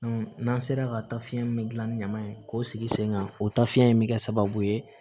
n'an sera ka ta fiɲɛ min gilan ni ɲama ye k'o sigi sen kan o tafiɲɛ in bɛ kɛ sababu ye